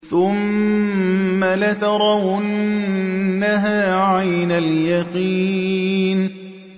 ثُمَّ لَتَرَوُنَّهَا عَيْنَ الْيَقِينِ